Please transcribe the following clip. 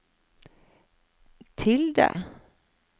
tilde